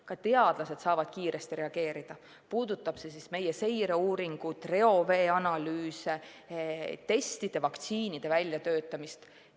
Ka teadlased saavad kiiresti reageerida, puudutagu see meie seireuuringut, reoveeanalüüse, testide ja vaktsiinide väljatöötamist.